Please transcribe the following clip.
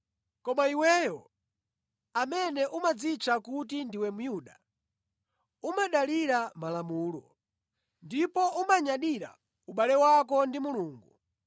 Koma iweyo, amene umadzitcha kuti ndiwe Myuda, umadalira Malamulo, ndipo umanyadira ubale wako ndi Mulungu,